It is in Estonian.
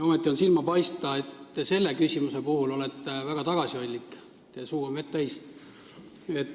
Ometi paistab silma, et selle küsimuse puhul olete väga tagasihoidlik, teie suu on vett täis.